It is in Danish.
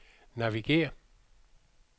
navigér